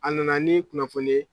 A nana ni kunnafoni ye